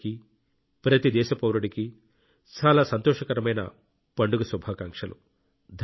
మీ అందరికీ ప్రతి దేశ పౌరుడికీ చాలా సంతోషకరమైన పండుగ శుభాకాంక్షలు